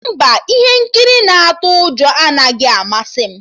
Mba, ihe nkiri na-atụ ụjọ anaghị amasị m